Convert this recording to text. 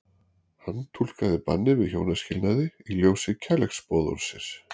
Hann túlkaði bannið við hjónaskilnaði í ljósi kærleiksboðorðsins.